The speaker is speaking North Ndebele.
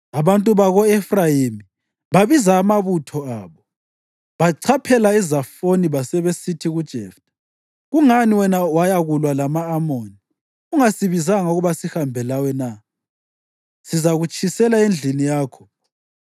Abantu bako-Efrayimi babiza amabutho abo, bachaphela eZafoni basebesithi kuJeftha, “Kungani wena wayakulwa lama-Amoni ungasibizanga ukuba sihambe lawe na? Sizakutshisela endlini yakho.”